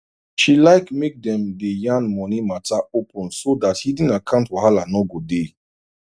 she like make dem day yan money matter open so that hidden account wahala no go dey